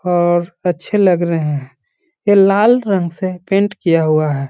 और अच्छे लग रहें हैं। ये लाल रंग से पेंट किया हुआ है।